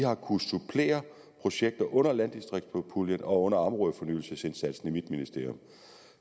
har kunnet supplere projekter under landdistriktspuljen og under områdefornyelsesindsatsen i mit ministerium